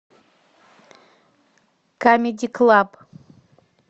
камеди клаб